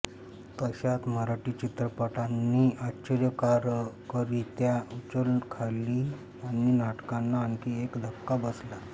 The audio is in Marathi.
तशात मराठी चित्रपटांनी आश्चर्यकारकरीत्या उचल खाल्ली आणि नाटकांना आणखी एक धक्का बसला